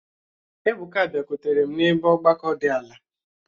Ebuka biakwutere m n'ebe ọgbakọ di ala